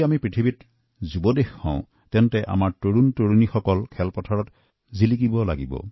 যদি আমি বিশ্বৰ তৰুণ ৰাষ্ট্ৰ হয় তেতিয়াহলে খেলাৰ ক্ষেত্ৰতো এই তাৰুণ্যতা পৰিলক্ষিত হোৱা উচিত